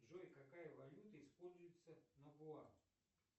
джой какая валюта используется на гоа